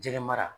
Jɛgɛ mara